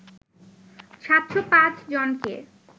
৭০৫ জনকে